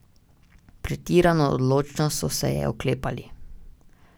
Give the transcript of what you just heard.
Pretirano odločno so se je oklepali.